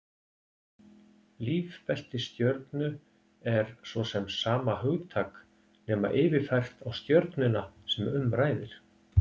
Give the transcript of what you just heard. Lífbelti stjörnu er svo sama hugtak, nema yfirfært á stjörnuna sem um ræðir.